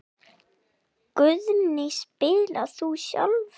Guðný: Spilar þú sjálfur?